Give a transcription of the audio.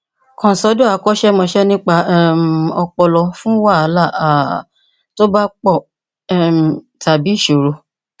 kàn sọdọ akọṣẹmọṣẹ nípa um ọpọlọ fún wàhálà um tó bá pọ um tàbí ìṣòro